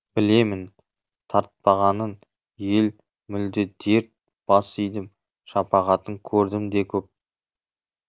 білемін тартпағанын ел мүлде дерт бас идім шапағатын көрдім де көп